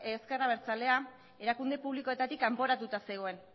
ezker abertzalea erakunde publikoetatik kanporatuta zegoen